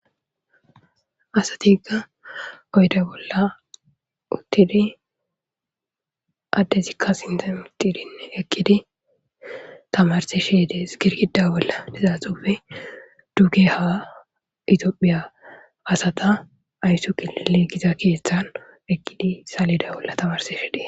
asati egga oyda bolla uttidi addezikka sintamitidin eqqidi tamarsi shidees girgida bolla lizaxufe duge ha itiophiya asata ayssu qiile giza keeththan ekkidi salida bolla tamarsi she de'e